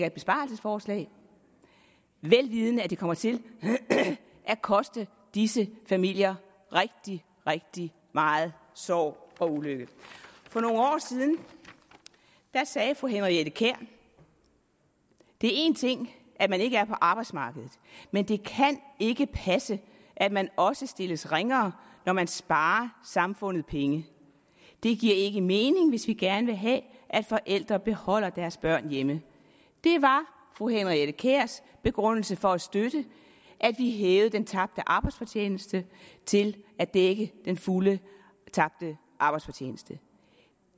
et besparelsesforslag vel vidende at det kommer til at koste disse familier rigtig rigtig meget sorg og ulykke for nogle år siden sagde fru henriette kjær det er én ting at man ikke er på arbejdsmarkedet men det kan ikke passe at man også stilles ringere når man sparer samfundet penge det giver ikke mening hvis vi gerne vil have at forældre beholder deres børn hjemme det var fru henriette kjærs begrundelse for at støtte at vi hævede den tabte arbejdsfortjeneste til at dække den fulde tabte arbejdsfortjeneste